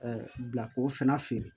bila k'o fana feere